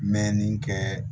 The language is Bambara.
Mɛnni kɛ